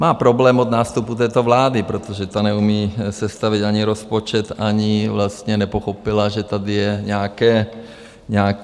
Má problém od nástupu této vlády, protože ta neumí sestavit ani rozpočet, ani vlastně nepochopila, že tady jsou nějaké příjmy.